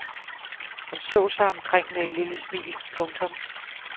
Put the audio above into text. Han så sig omkring med et lille smil. punktum